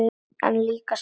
En líka sælu.